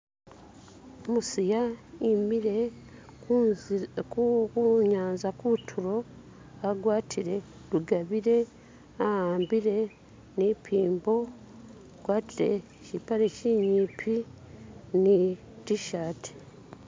Umusiya i'mile kunyanza ku'tulo, agwatile lugabire, a'ambile ni mpimbo ,akwatile shipale shinyimpi ni T'shati